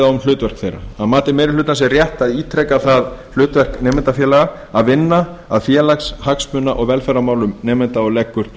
á um hlutverk þeirra að mati meiri hlutans er rétt að ítreka það hlutverk nemendafélaga að vinna að félags hagsmuna og velferðarmálum félaga og leggur